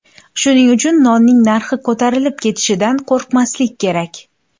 Shuning uchun nonning narxi ko‘tarilib ketishidan qo‘rqmaslik kerak.